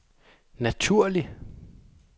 naturlig